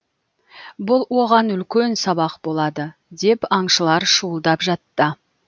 бұл оған үлкен сабақ болады деп аңшылар шуылдап жатты